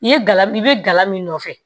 I ye gala i be gala min nɔfɛ